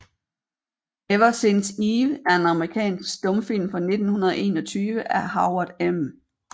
Ever Since Eve er en amerikansk stumfilm fra 1921 af Howard M